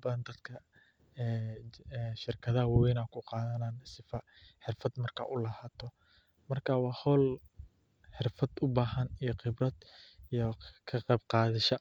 badan dadka aya ku qadhanaya shirkaada wawen, xirfaad marka u lahato iyo ka qeb qadasha.